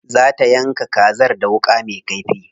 Za ta yanka kazar da wuƙa me kaifi.